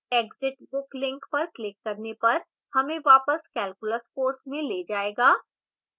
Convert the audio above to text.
exit book link पर click करने पर हमें वापस calculus course में ले जाएगा